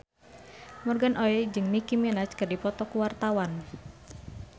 Morgan Oey jeung Nicky Minaj keur dipoto ku wartawan